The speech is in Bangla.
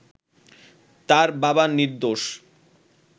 তার বাবা নির্দোষ